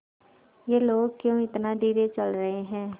ये लोग क्यों इतना धीरे चल रहे हैं